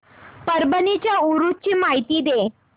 परभणी च्या उरूस ची माहिती दे